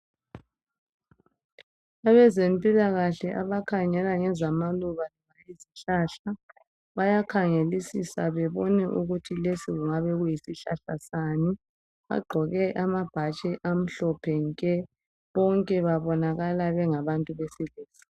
abezempilakhle abakhangela ngezamaluba lezihlahla bayakhangelisisa bebone ukuthi lesi kungabe kuyisihlahla sani bagqoke amabhatshi amahlophe nke bonke babonakala bengabantu besilisa